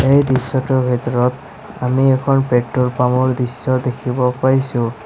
এই দৃশ্যটোৰ ভিতৰত আমি এখন পেট্ৰল পাম্প ৰ দেখিব পাইছোঁ।